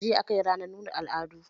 Jiya aka yi ranar nuna al'adu